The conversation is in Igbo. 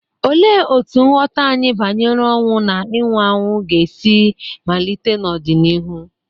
Olee otú nghọta anyị banyere ọnwụ na ịnwụ anwụ ga-esi malite n'ọdịnihu?